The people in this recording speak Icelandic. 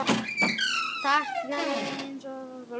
Ég tognaði aðeins í vöðva.